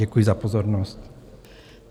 Děkuji za pozornost.